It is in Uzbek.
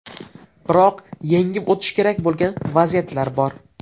Biroq yengib o‘tish kerak bo‘lgan vaziyatlar bor.